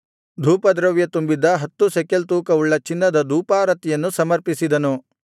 ಧೂಪದ್ರವ್ಯ ತುಂಬಿದ್ದ ಹತ್ತು ಶೆಕೆಲ್ ತೂಕವುಳ್ಳ ಚಿನ್ನದ ಧೂಪಾರತಿಯನ್ನು ಸಮರ್ಪಿಸಿದನು